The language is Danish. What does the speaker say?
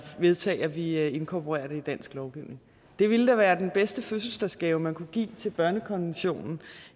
vedtage at vi inkorporerer det i dansk lovgivning det ville da være den bedste fødselsdagsgave man kunne give til børnekonventionen